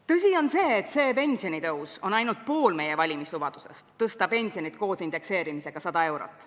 Tõsi on see, et see pensionitõus on ainult pool meie valimislubadusest tõsta pensioni koos indekseerimisega 100 eurot.